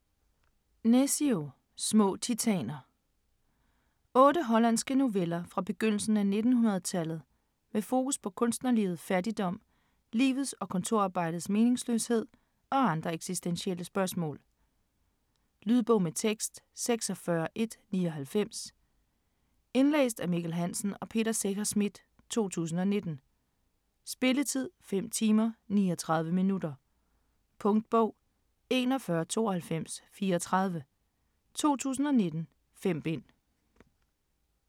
Nescio: Små titaner Otte hollandske noveller fra begyndelsen af 1900 med fokus på kunstnerlivet, fattigdom, livets og kontorarbejdets meningsløshed og andre eksistentielle spørgsmål. Lydbog med tekst 46199 Indlæst af Mikkel Hansen og Peter Secher Schmidt, 2019. Spilletid: 5 timer, 39 minutter. Punktbog 419234 2019. 5 bind.